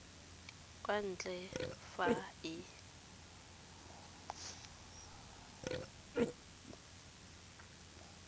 kwa ntle ga fa e